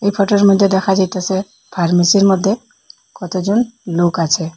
এই ফটোর মইধ্যে দেখা যাইতাসে ফার্মেসির মধ্যে কতজন লোক আছে।